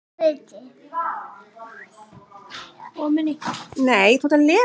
Erum við þá ekki í öðru?